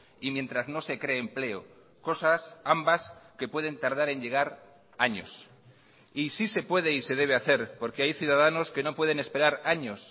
y mientras no se cree empleo cosas ambas que pueden tardar en llegar años y sí se puede y se debe hacer porque hay ciudadanos que no pueden esperar años